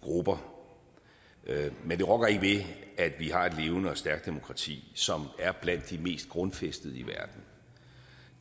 grupper men det rokker ikke ved at vi har et levende og stærkt demokrati som er blandt de mest grundfæstede i verden